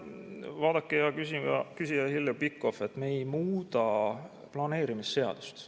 Vaadake, hea küsija Heljo Pikhof, me ei muuda planeerimisseadust.